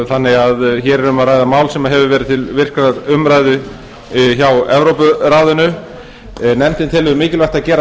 þannig að hér er um að ræða mál sem hefur verið til virkrar umræðu hjá evrópuráðinu nefndin telur mikilvægt að gera